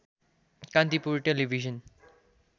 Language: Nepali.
कान्तिपुर टेलिभिजन